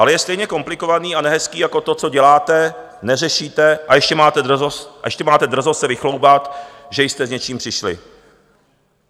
Ale je stejně komplikovaný a nehezký jako to, co děláte, neřešíte, a ještě máte drzost se vychloubat, že jste s něčím přišli.